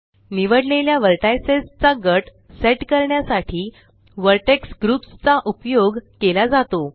निवडलेल्या वर्टैसज़ चा गट सेट करण्यासाठी व्हर्टेक्स ग्रुप्स चा उपयोग केला जातो